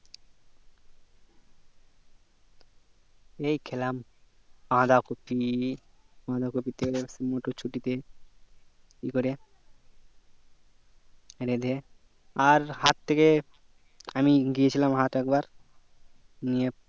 এই খেলাম বাঁধা কপি বাঁধা কপিতে মোটর ছুটিতে ই করে রেঁধে আর হাট থেকে আমি গিয়েছিলাম হাট এক বার নিয়ে